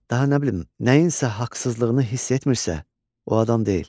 daha nə bilim, nəyinsə haqsızlığını hiss etmirsə, o adam deyil.